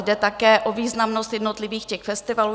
Jde také o významnost jednotlivých festivalů.